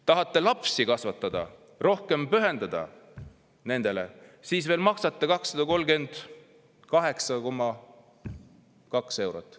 Tahate lapsi kasvatada, rohkem pühenduda nendele, siis makske 238,2 eurot.